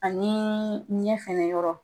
Ani ɲɛ fɛnɛ yɔrɔ.